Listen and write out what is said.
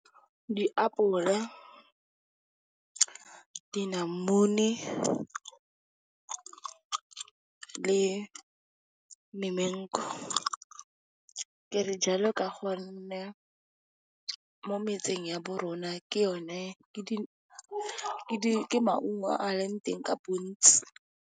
Diapola, dinamune le . Ke re jalo ka gonne mo metseng ya bo rona ke maungo a leng teng ka bontsi.